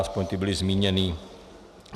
Aspoň ti byli zmíněni.